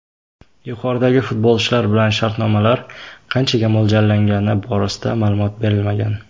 Yuqoridagi futbolchilar bilan shartnomalar qanchaga mo‘ljallangani borasida ma’lumot berilmagan.